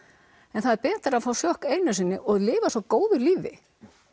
en það er betra að fá sjokk einu sinni og lifa svo góðu lífi